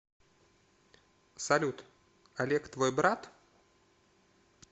салют олег твой брат